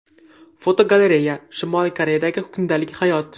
Fotogalereya: Shimoliy Koreyadagi kundalik hayot .